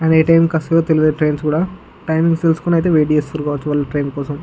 అవి ఏ టైమ్ కి వస్తాయో తెలీదు వాళ్ళు వెయిట్ చేస్తున్నారు ట్రైన్ కోసం.